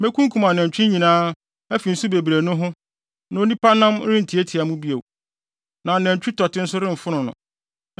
Mekunkum nʼanantwi nyinaa afi nsu bebree no ho na onipa nan rentiatia mu bio na anantwi tɔte nso remfono no.